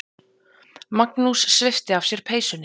Magnús svipti af sér peysunni.